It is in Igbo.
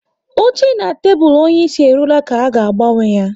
Oche na tebụl onyeisi e ruola ka a ga-agbanwe ya